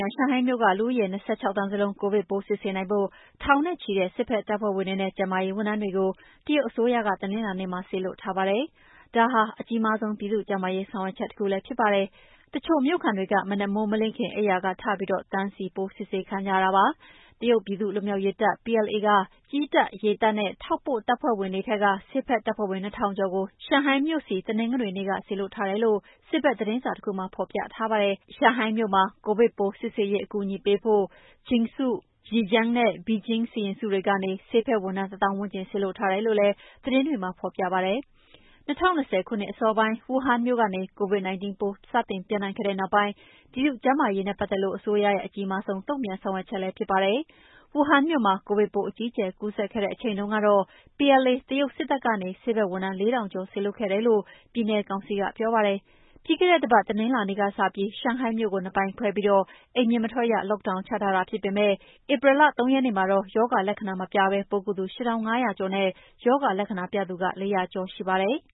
ငံ၊ ရှန်ဟိုင်းမြို့က လူဦးရေ ၂၆ သန်းစလုံး ကိုဗစ်ပိုးစစ်ဆေးနိုင်ဖို့ ထောင်နဲ့ချီတဲ့ စစ်ဘက်တပ်ဖွဲ့ဝင်တွေနဲ့ ကျန်းမာရေးဝန်ထမ်းတွေကို တရုတ်အစိုးရက တနင်္လာနေ့မှာ စေလွှတ်ထားပါတယ်။ ဒါဟာ အကြီးမားဆုံး ပြည်သူ့ကျန်းမာရေးဆောင်ရွက်ချက်တခုလည်း ဖြစ်ပါတယ်။ တချို့မြို့ခံတွေက မနက်မိုးမလင်းခင် အိမ်ယာကထပြီး တန်းစီပြီး ပိုးစစ်ဆေးခံကြရပါတယ်။ တရုတ်ပြည်သူ့ လွတ်မြောက်ရေးတပ် (PLA) က ကြည်းတပ်၊ ရေတပ်နဲ့ ထောက်ပို့တပ်ဖွဲ့တွေထဲက ဆေးဘက်တပ်ဖွဲ့ဝင် ၂ ထောင်ကျော်ကို ရှန်ဟိုင်းမြို့ဆီ တနင်္ဂနွေနေ့က စေလွှတ်ထားတယ်လို့ စစ်ဘက်သတင်းစာတခုမှာ ဖော်ပြထားပါတယ်။ ရှန်ဟိုင်းမြို့၊ ကိုဗစ်ပိုးစစ်ဆေးရေးအကူအညီပေးဖို့ Jiangsu၊ Zhejiang နဲ့ Beijing စီရင်စုတွေကနေ ဆေးဘက် ဝန်ထမ်း ၁ သောင်းဝန်းကျင် စေလွှတ်ထားတယ်လို့လည်း သတင်းတွေမှာဖော်ပြပါတယ်။ ၂၀၂၀ ခုနှစ် အစောပိုင်း ဝူဟန်မြို့ကနေ Covid-19 ပိုးပြန့်နှံ့ခဲ့တဲ့နောက်ပိုင်း ပြည်သူ့ကျန်းမာရေးနဲ့ပတ်သက်လို့ အစိုးရရဲ့ အကြီးမားဆုံးတုံ့ပြန် ဆောင်ရွက်ချက်လည်းဖြစ်ပါတယ်။ ဝူဟန်မြို့မှာ ကိုဗစ်ပိုးအကြီးအကျယ်ကူးစက်ခဲ့တဲ့အချိန်တုန်းကတော့ PLA တရုတ်စစ်တပ်ကနေ ဆေးဘက်ဝန်ထမ်း ၄ ထောင်ကျော် စေလွှတ်ခဲ့တယ်လို့ ပြည်နယ်ကောင်စီကပြောပါတယ်။ ပြီးခဲ့တဲ့တပတ် တနင်္လာနေ့ကစပြီး ရှန်ဟိုင်းမြို့ကို နှစ်ပိုင်းခွဲပြီး အိမ်ပြင်မထွက်ရ Lockdown ချထားတာဖြစ်ပေမယ့် ဧပြီလ ၃ ရက်နေ့မှာတော့ ရောဂါလက္ခဏာမပြဘဲ ပိုးကူးသူ ၈,၅၀၀ ကျော်နဲ့ ရောဂါလက္ခဏာပြသူ ၄၀၀ ကျော်ရှိပါတယ်။